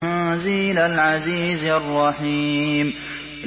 تَنزِيلَ الْعَزِيزِ الرَّحِيمِ